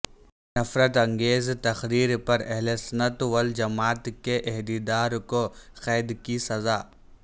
نفرت انگیز تقریر پر اہلسنت و الجماعت کے عہدیدار کو قید کی سزا